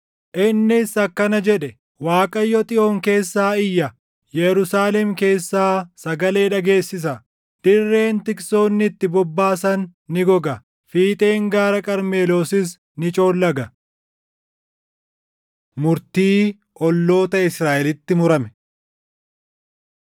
Innis akkana jedhe: “ Waaqayyo Xiyoon keessaa iyya; Yerusaalem keessaa sagalee dhageessisa; dirreen tiksoonni itti bobbaasan ni goga; fiixeen gaara Qarmeloosis ni coollaga.” Murtii Olloota Israaʼelitti Murame